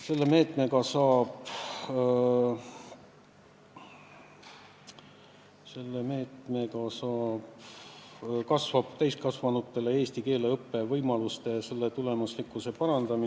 Selle meetmega kasvavad täiskasvanutel eesti keele õppe võimalused ja ka selle tulemuslikkus peaks paranema.